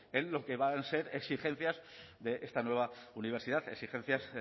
en lo que van a ser exigencias de esta nueva universidad exigencias